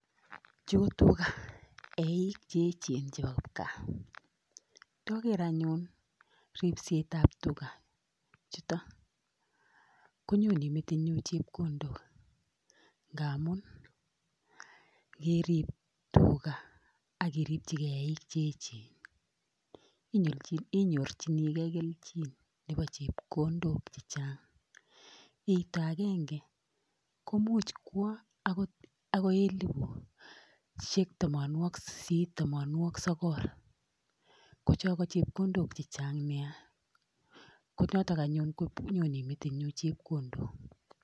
Chu tugaa, eik che echen chepo kipgaa. Indogeer ane ripsetab tugaa chutok konyone metinyun chepkondook. Amun keerib tugaa ak iripchiike eik cheechen inyorchinigei kelchin Nebo chepkondook chechang. Eito agenge koimuch kwo okoi elipu thomoniokik sisit anan ko thomoniokik sogol. Chon ko chepkondook chechang Nia, konotok anyone konyone metinyuun chepkondook.